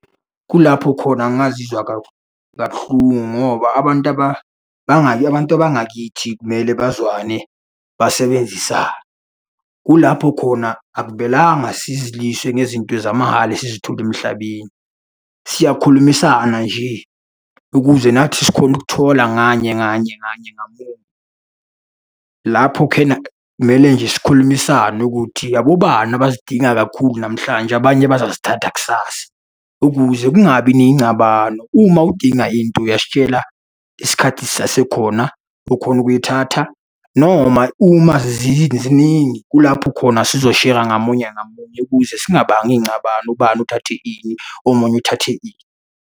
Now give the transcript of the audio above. Kulapho khona ngazizwa kabuhlungu ngoba abantu, abantu bangakithi kumele bazwane basebenzisane. Kulapho khona akumelanga sizilwise ngezinto zamahhala esizithola emhlabeni. Siyakhulumisana nje ukuze nathi sikhone ukuthola nganye nganye nganye ngamunye. Lapho khena kumele nje sikhulumisane ukuthi, abobani abazidinga kakhulu namhlanje abanye bazazithatha kusasa, ukuze kungabi nengcabano. Uma udinga into uyasitshela isikhathi sisasekhona, ukhone ukuyithatha, noma uma ziziningi kulapho khona sizoshera ngamunye ngamunye ukuze singabangi ingcabano, ubani uthathe ini, omunye uthathe ini.